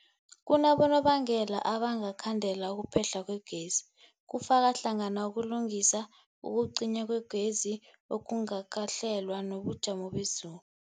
Kunabonobangela abangakhandela ukuphehlwa kwegezi, kufaka hlangana ukulungisa, ukucinywa kwegezi okungakahlelwa, nobujamo bezulu.